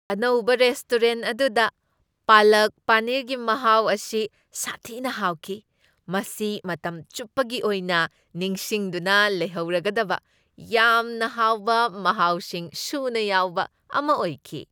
ꯑꯅꯧꯕ ꯔꯦꯁꯇꯨꯔꯦꯟ ꯑꯗꯨꯗ ꯄꯥꯂꯛ ꯄꯅꯤꯔꯒꯤ ꯃꯍꯥꯎ ꯑꯁꯤ ꯁꯥꯊꯤꯅ ꯍꯥꯎꯈꯤ, ꯃꯁꯤ ꯃꯇꯝ ꯆꯨꯞꯄꯒꯤ ꯑꯣꯏꯅ ꯅꯤꯡꯁꯤꯡꯗꯨꯅ ꯂꯩꯍꯧꯔꯒꯗꯕ ꯌꯥꯝꯅ ꯍꯥꯎꯕ ꯃꯍꯥꯎꯁꯤꯡ ꯁꯨꯅ ꯌꯥꯎꯕ ꯑꯃ ꯑꯣꯏꯈꯤ ꯫